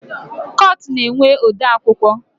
Kọtụ na-enwe odeakwụkwọ